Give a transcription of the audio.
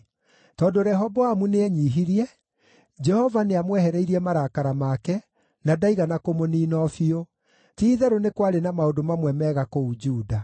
Tondũ Rehoboamu nĩenyiihirie, Jehova nĩamwehereirie marakara make, na ndaigana kũmũniina o biũ. Ti-itherũ nĩ kwarĩ na maũndũ mamwe mega kũu Juda.